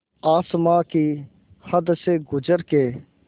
आसमां की हद से गुज़र के